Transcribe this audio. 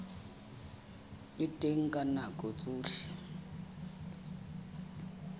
le teng ka nako tsohle